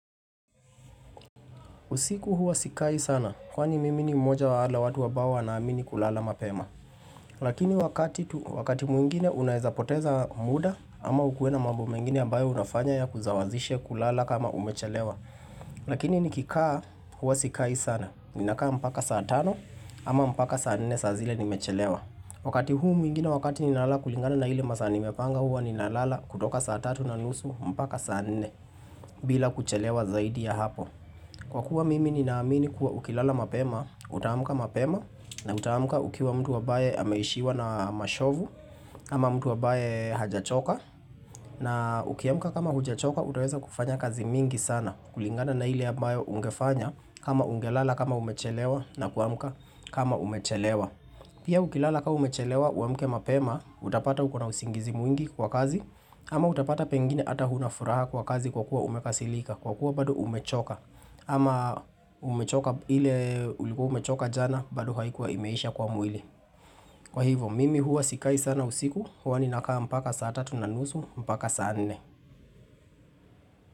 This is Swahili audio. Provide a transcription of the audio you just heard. Usiku huwa sikai sana, kwa ni mii ni mmoja wale watu ambao wanaamini kulala mapema. Lakini wakati mwingine unaezapoteza muda ama ukue na mambo mengine ambayo unafanya ya kuzawazishe kulala kama umechelewa. Lakini nikikaa huwa sikai sana, ninakaa mpaka saa tano ama mpaka saa nne saa zile nimechelewa. Wakati huu mwingine wakati ninalala kulingana na hile masa nimepanga huwa ninalala kutoka saa tatu na nusu mpaka saa nne bila kuchelewa zaidi ya hapo. Kwa kuwa mimi ni naamini kuwa ukilala mapema, utaamuka mapema na utaamuka ukiwa mtu awabaye ameishiwa na mashovu, ama mtu wabaye hajachoka, na ukiamuka kama hujachoka utaweza kufanya kazi mingi sana, kulingana na hili ambayo ungefanya kama ungelala kama umechelewa na kuamuka kama umechelewa. Pia ukilala kama umechelewa uamuke mapema, utapata ukuna usingizi mwingi kwa kazi ama utapata pengine ata hunafuraha kwa kazi kwa kuwa umekasilika Kwa kuwa bado umechoka ama umechoka ile ulikuwa umechoka jana bado haikuwa imeisha kwa mwili Kwa hivyo, mimi huwa sikai sana usiku Hwa ni nakaha mpaka saa 3 na nusu, mpaka saa 4.